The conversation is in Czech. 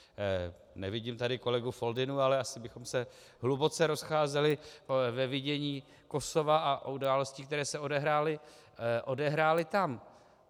Nevidím tady kolegu Foldynu, ale asi bychom se hluboce rozcházeli ve vidění Kosova a událostí, které se odehrály tam.